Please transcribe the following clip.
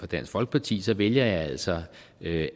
dansk folkeparti så vælger jeg altså at